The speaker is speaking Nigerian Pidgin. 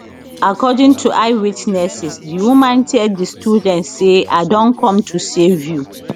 according to eye witnesses di woman tell di students say i don come to save you